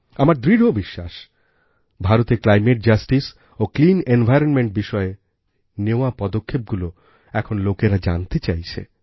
আমার দৃঢ় বিশ্বাস ভারতেক্লাইমেট জাস্টিস ওclean environmentবিষয়ে নেওয়া পদক্ষেপগুলি এখন লোকেরা জানতে চাইছে